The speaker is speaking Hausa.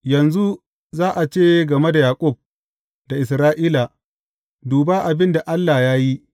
Yanzu za a ce game da Yaƙub da Isra’ila, Duba abin da Allah ya yi!’